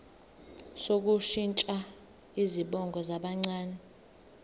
sokushintsha izibongo zabancane